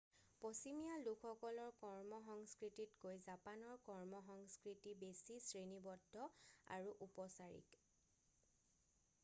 পশ্চিমীয়া লোকসকলৰ কৰ্মসংস্কৃতিতকৈ জাপানৰ কৰ্মসংস্কৃতি বেছি শ্ৰেণীবদ্ধ আৰু উপচাৰিক